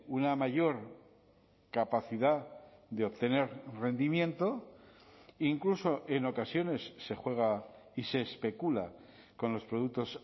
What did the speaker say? una mayor capacidad de obtener rendimiento incluso en ocasiones se juega y se especula con los productos